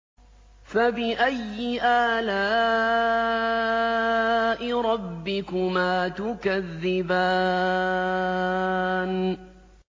فَبِأَيِّ آلَاءِ رَبِّكُمَا تُكَذِّبَانِ